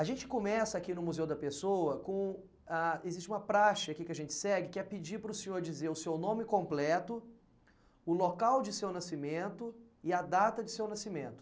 A gente começa aqui no Museu da Pessoa com, ah... Existe uma praxe aqui que a gente segue, que é pedir para o senhor dizer o seu nome completo, o local de seu nascimento e a data de seu nascimento.